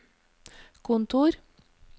kontor